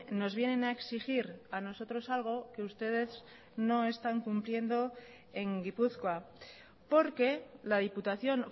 nos vienen a exigir a nosotros algo que ustedes no están cumpliendo en gipuzkoa porque la diputación